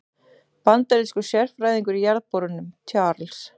Bandarískur sérfræðingur í jarðborunum, Charles